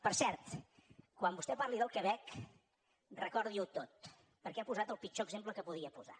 per cert quan vostè parli del quebec recordi ho tot perquè ha posat el pitjor exemple que podia posar